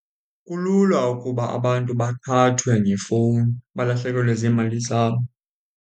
Kulula ukuba abantu baqhathwe ngefowuni balahlekelwe ziimali zabo.